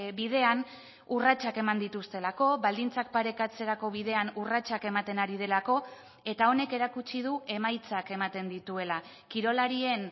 bidean urratsak eman dituztelako baldintzak parekatzerako bidean urratsak ematen ari delako eta honek erakutsi du emaitzak ematen dituela kirolarien